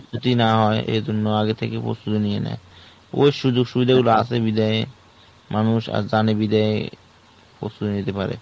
ক্ষতি না হয় এই জন্য আগে থেকে প্রস্তুতি নিয়ে নেই ওই সুযোগ সুবিধার গুলো মানুষ আজ জানে বিধায় প্রস্তুতি নিতে পারে।